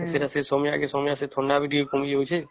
ସେଟା ସେ ସମୟ ବି ଥଣ୍ଡା ବି ଟିକେ କମି ଯାଉଛେ